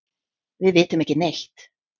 Við vitum ekki neitt.